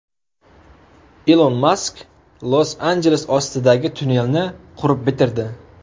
Ilon Mask Los-Anjeles ostidagi tunnelni qurib bitirdi.